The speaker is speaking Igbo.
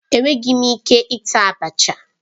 Enweghị m ike ita abacha.